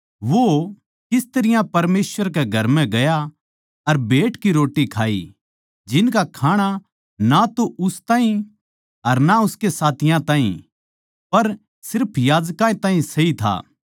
वो किस तरियां परमेसवर कै घर म्ह गया अर भेंट की रोट्टी खाई जिनका खाणा ना तो उस ताहीं अर ना उसके साथियाँ ताहीं पर सिर्फ याजकां ताहीं सई था